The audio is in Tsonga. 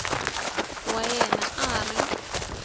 wa yena a a ri